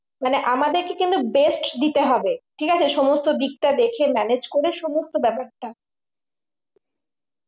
মানে আমাদেরকে কিন্তু best দিতে হবে ঠিক আছে সমস্ত দেখে manage করে সমস্ত ব্যাপারটা